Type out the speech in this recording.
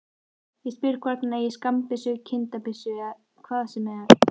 Ég spyr hvort hann eigi skammbyssu, kindabyssu, hvað sem er.